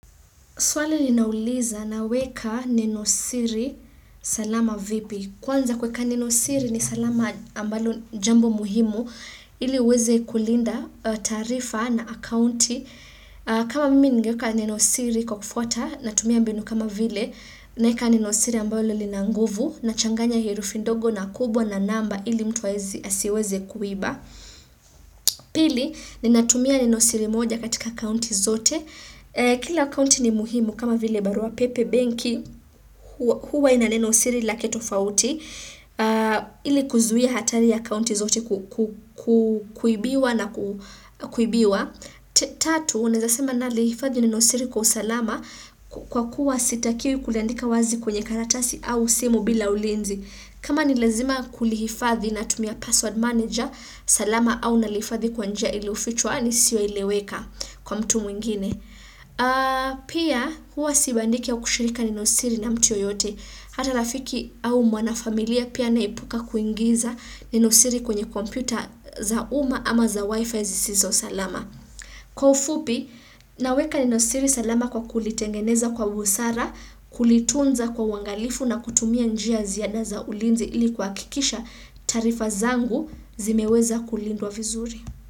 Swali linauliza naweka nenosiri salama vipi. Kwanza kuweka nenosiri ni salama ambalo jambo muhimu ili uweze kulinda taarifa na akaunti. Kama mimi ningeeka nenosiri kwa kufuata natumia mbinu kama vile naeka nenosiri ambalo lina nguvu nachanganya herufi ndogo na kubwa na namba ili mtu asiweze kuiba. Pili, ninatumia nenosiri moja katika akaunti zote. Kila account ni muhimu kama vile barua pepe benki huwa ina nenosiri lake tofauti ili kuzuia hatari ya akaunti zote kuibiwa na kuibiwa Tatu, unaeza sema nalihifadhi nenosiri kwa usalama kwa kuwa sitakiwi kuliandika wazi kwenye karatasi au simu bila ulinzi kama ni lazima kulihifadhi natumia password manager salama au nalifadhi kwa nija iliyofichwa lisioeleweka kwa mtu mwingine Pia huwa sibandiki au kushiriki nenosiri na mtu yeyote Hata rafiki au mwanafamilia pia naepuka kuingiza nenosiri kwenye kompyuta za uma ama za wifi zisizo salama Kwa ufupi, naweka nenosiri salama kwa kulitengeneza kwa busara Kulitunza kwa uangalifu na kutumia njia ya ziada za ulinzi ili kuhakikisha taarifa zangu zimeweza kulindwa vizuri.